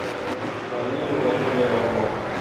марию владимировну